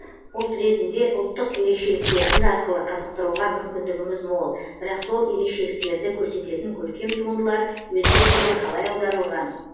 ұлт ретінде ұлттық ерекшеліктеріміз арқылы қызықтыруға мүмкіндігіміз мол бірақ сол ерекшеліктерді көрсететін көркем туындылар өзге тілге қалай аударылған